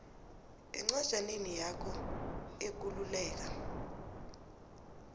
encwajaneni yakho ekululeka